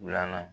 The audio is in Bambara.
Wula na